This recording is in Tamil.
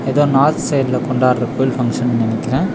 எதோ நார்த் சைடுல கொண்டாடுற கோயில் ஃபங்ஷன் நெனக்றே.